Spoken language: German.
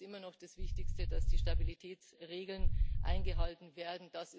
Für mich ist immer noch das Wichtigste, dass die Stabilitätsregeln eingehalten werden.